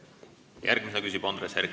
Järgmisena küsib Andres Herkel.